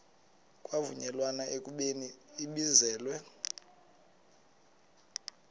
kwavunyelwana ekubeni ibizelwe